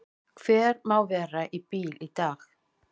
Hver má vera á bíl í dag?